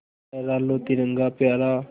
लहरा लो तिरंगा प्यारा